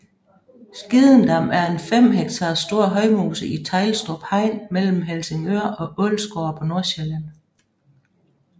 Skidendam er en 5 hektar stor højmose i Teglstrup Hegn mellem Helsingør og Ålsgårde på Nordsjælland